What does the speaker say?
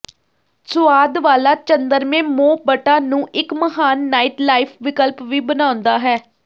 ਸੁਆਦ ਵਾਲਾ ਚੰਦ੍ਰਮੇ ਮੋ ਬੱਟਾ ਨੂੰ ਇੱਕ ਮਹਾਨ ਨਾਈਟ ਲਾਈਫ ਵਿਕਲਪ ਵੀ ਬਣਾਉਂਦਾ ਹੈ